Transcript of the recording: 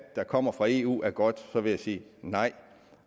der kommer fra eu er godt vil jeg sige nej